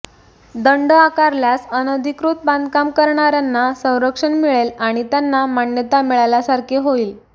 दंड आकारल्यास अनधिकृत बाधकाम करणाऱ्यांना संरक्षण मिळेल आणि त्यांना मान्यता मिळाल्यासारखे होईल